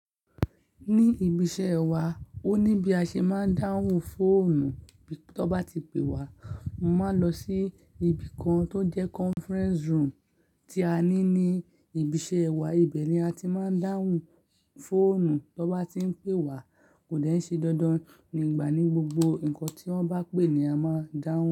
Ní ibi iṣẹ́ wa, ó ní bí a ṣe máa ń dáhùn fóònù. Tó bá ti pé wá, máa lọ sí ibi kan tó jẹ́ conference room tí a ní ní ibi iṣẹ́ wa. Ìbẹ̀ ni a ti máa ń dáhùn fóònù. Bó bá ti ń pé wá kò dẹ̀ ṣe dandan nígbà ní gbogbo. Nǹkan tí wọ́n bá pè ni a máa dáhùn.